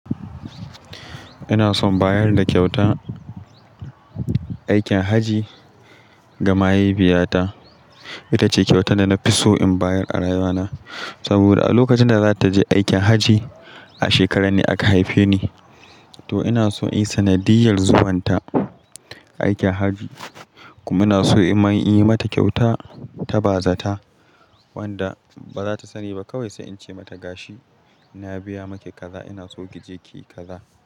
Ina son bayar da kyautan aikin hajji ga mahaifiyata. Ita ce kyautar da na fi so in bayar a rayuwana. Saboda a lokacin da za ta je aikin hajji, a shekaran ne aka haife ni, to ina so in yi sanadiyar zuwan ta aikin hajji. Kuma ina so in yi mata kyauta ta bazata wanda ba za ta sani ba kawai sai in ce mata gashi "na biya maki kaza, ina so ki je ki yi kaza".